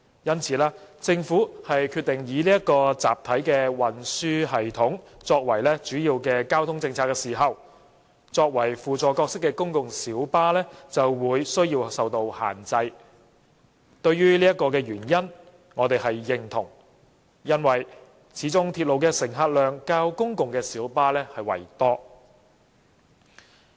因此，當政府決定以集體運輸系統作為主要交通政策時，作為輔助角色的公共小巴的增長就有需要受到限制。對此原因，我們是認同的，因為鐵路的乘客量始終較公共小巴為多。